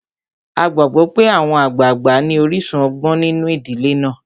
A gbàgbó pé àwọn àgbàgbà ní orísun ọgbọ́n nínu ìdílé náà.